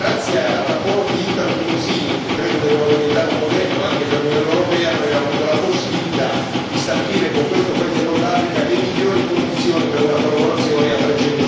E grazie ai rapporti italo tunisini, che credo debbano diventare un modello anche per l'Unione europea, noi abbiamo avuto la possibilità di stabilire con questo paese del Nord Africa le migliori condizioni per una collaborazione a trecentosessanta gradi.